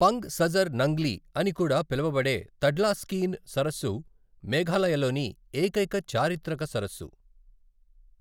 Punk Sajar Nangli అని కూడా పిలువబడే తడ్లాస్కీన్ సరస్సు మేఘాలయలోని ఏకైక చారిత్రక సరస్సు.